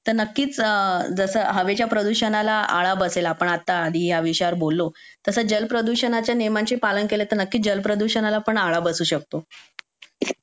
तर नक्कीच जसं हवेच्या प्रदूषणाला आळा बसेल जसं आपण आधी ह्या विषयावर बोललो जल प्रदूषणाचे नियमांचे पालन केले ना तर नक्कीच जल प्रदूषणाला पण आळा बसू शकतो